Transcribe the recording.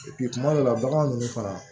kuma dɔ la bagan ninnu fana